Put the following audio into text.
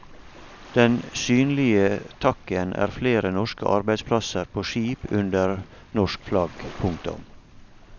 Den synlige takken er flere norske arbeidsplasser på skip under norsk flagg. punktum